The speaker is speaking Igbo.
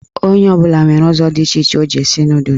Onye ọbụla nwere ụzọ dị iche iche o ji esi nọdụs